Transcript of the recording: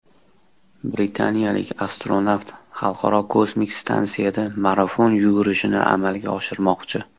Britaniyalik astronavt Xalqaro kosmik stansiyada marafon yugurishini amalga oshirmoqchi.